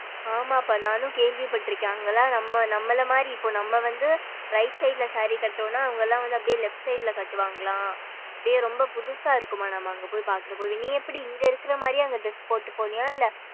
ஆமாப்பா நானும் கேள்வி பட்ருக்கேன் அங்கலாம் நம்ம நம்மல மாரி இப்போ நம்ம வந்து right side saree ல கட்டுனம்னாஅவுங்கலாம் வந்து left side ல கட்டுவாங்கலாம் அப்படியே ரொம்ப புதுசா இருக்கும்மா நம்ம அங்க போயி பாக்குரப்பவே நீ எப்படி இங்க இருக்க மாறியே அங்க dress போட்டு போனியா இல்ல.